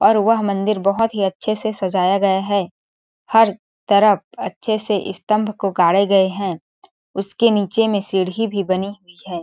और वह मंदिर बहोत ही अच्छे से सजाया गया है हर तरफ अच्छे से स्तम्भ को गाड़े गए है इसके नीचे मे सीढी भी बनी हुई है।